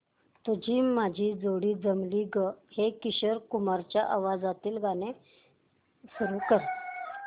तुझी माझी जोडी जमली गं हे किशोर कुमारांच्या आवाजातील गाणं सुरू कर